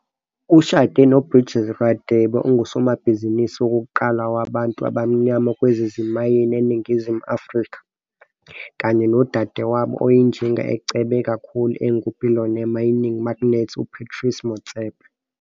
Ushade noBridgette Radebe, ongusomabhizinisi wokuqala wabantu abamnyama kwezezimayini eNingizimu Afrika kanye nodadewabo wenjinga ecebe kakhulu engu-billionaire mining magnate, uPatrice Motsepe.